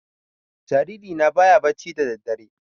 Jariri na baya bacci da daddare